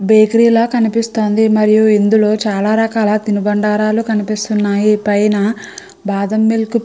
baker ల కినిపిస్తోంది మరియు ఇందులో చాలా రకాల తిను బండారాలు కనిపిస్తున్నాయి పైన బాఢ మిల్క్ --